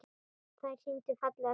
Þær sýndu fallega þjóð.